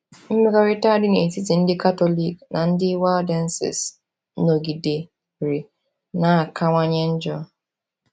Mmekọrịta dị n’etiti ndị Katọlik na ndị Waldenses nọgidere na-akawanye njọ.